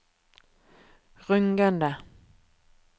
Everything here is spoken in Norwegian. rungende